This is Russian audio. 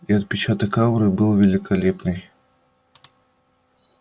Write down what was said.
и отпечаток ауры был великолепный